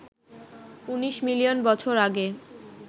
১৯ million বছর আগে